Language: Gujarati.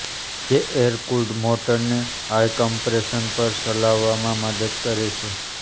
જે એરકૂલ્ડ મોટરને હાઈ કમ્પ્રેશન પર ચાલવામાં મદદ કરે છે